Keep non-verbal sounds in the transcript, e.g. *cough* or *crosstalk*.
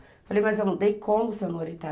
Eu falei, mas eu não dei como, *unintelligible*